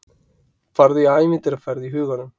Farðu í ævintýraferð í huganum.